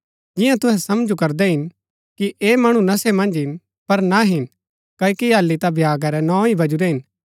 जिंआं तुहै समझु करदै हिन कि ऐह मणु नशे मन्ज हिन पर ना हिन क्ओकि हालि ता भ्यागा रै नौ ही वजुरै हिन